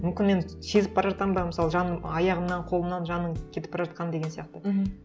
мүмкін мен сезіп бара жатамын ба мысалы жаным аяғымнан қолымнан жаным кетіп бара жатқанын деген сияқты мхм